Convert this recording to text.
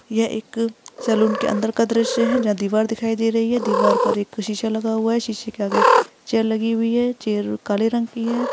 यह एक सलून के अंदर का दृश्य है जहाँ दीवार पर दिखाई दे रही है दीवार के ऊपर एक शीशा लगा हुआ है शीशे के आगे चेयर लगी हुई है चेयर काले रंग की है।